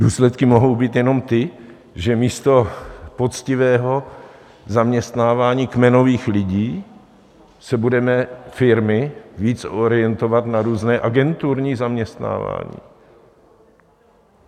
Důsledky mohou být jenom ty, že místo poctivého zaměstnávání kmenových lidí se budou firmy víc orientovat na různé agenturní zaměstnávání.